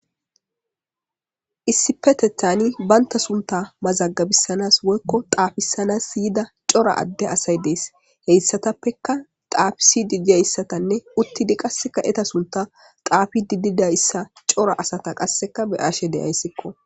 Issipetethani baynta sunta mazagabissanas woykko xaafissanas iyida cora adde asay dees heyssatappeka xaafisi didiyayssatanne uttidi qasseka eta sunta xaafi dididayssa cora asata qasseka beaashe deyayssikko.